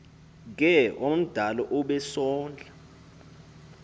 ke omdala obesondla